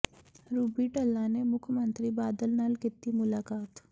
Ruby Dhalla ਨੇ ਮੁੱਖ ਮੰਤਰੀ ਬਾਦਲ ਨਾਲ ਕੀਤੀ ਮੁਲਾਕਾਤ